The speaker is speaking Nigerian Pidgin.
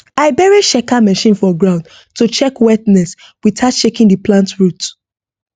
i bury checker machine for ground to check wetness without shaking the plant root